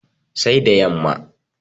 Sai da yamma